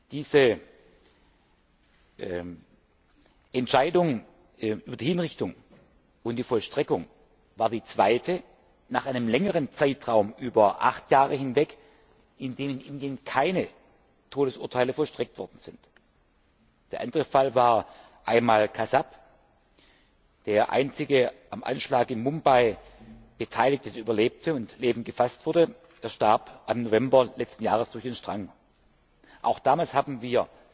Diese Entscheidung über die Hinrichtung und die Vollstreckung war die zweite nach einem längeren Zeitraum von acht Jahren, in dem in Indien keine Todesurteile vollstreckt worden sind. Der andere Fall war Ajmal Kasab, der einzige am Anschlag in Mumbai Beteiligte, der überlebte und lebend gefasst wurde. Er starb im November letzten Jahres durch den Strang. Auch damals haben